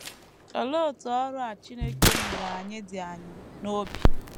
Olee otú ọrụ a Chineke nyere anyị dị anyị n’obi?